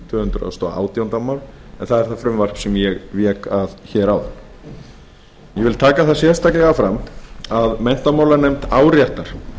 tvö hundruð og átjándu mál en það er það frumvarp sem ég vék að hér áðan ég vil taka það sérstaklega fram að menntamálanefnd áréttar